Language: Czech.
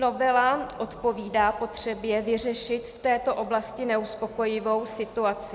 Novela odpovídá potřebě vyřešit v této oblasti neuspokojivou situaci.